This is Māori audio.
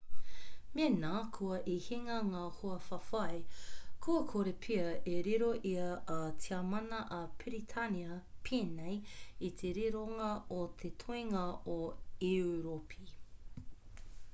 mena kua i hinga ngā hoawhawhai kua kore pea e riro i a tiamana a piritania pēnei i te rironga o te toinga o europi